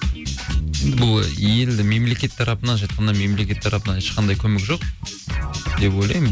бұл елді мемлекет тарапынан былайша айтқанда мемлекет тарапынан ешқандай көмек жоқ деп ойлаймын